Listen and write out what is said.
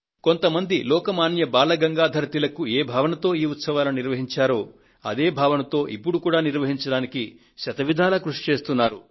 కొంత మంది లోక్ మాన్య బాల గంగాధర్ తిలక్ ఏ భావనతో ఈ ఉత్సవాలను నిర్వహించారో అదే భావనతో ఇప్పుడు కూడా నిర్వహించడానికి శత విధాలా కృషి చేస్తున్నారు